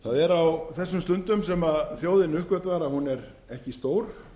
það er á þessum stundum sem þjóðin uppgötvar að hún er ekki stór